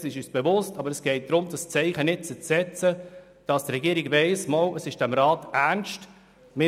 Dessen sind wir uns bewusst, aber es geht darum, dieses Zeichen jetzt zu setzen, damit die Regierung weiss, dass es dem Rat ernst ist: